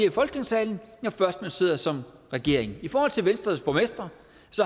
i folketingssalen når først sidder som regering i forhold til venstres borgmestre